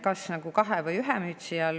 Kas kahe või ühe mütsi all?